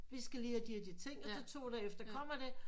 Vi skal lige have de og de ting og så to dage efter kommer det